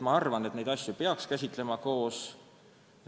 Ma arvan, et neid asju peaks käsitlema koos.